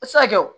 A tɛ se ka kɛ o